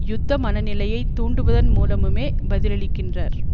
யுத்த மன நிலையை தூண்டுவதன் மூலமுமே பதிலளிக்கின்றார்